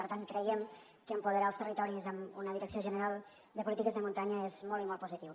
per tant creiem que apoderar els territoris amb una direcció general de polítiques de muntanya és molt i molt positiu